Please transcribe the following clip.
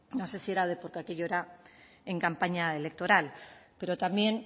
no sé si era porque aquello era en campaña electoral pero también